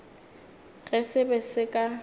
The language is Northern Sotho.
ge se be se ka